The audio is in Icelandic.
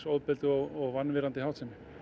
ofbeldi og vanvirðandi háttsemi